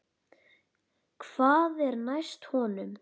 Hvað var næst honum?